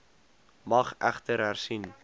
mag egter hersien